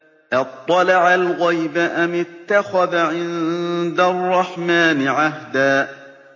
أَطَّلَعَ الْغَيْبَ أَمِ اتَّخَذَ عِندَ الرَّحْمَٰنِ عَهْدًا